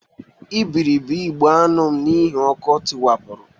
Ebibiri ụgbọ aṅụ m n'ihi ọkụ tiwapụrụ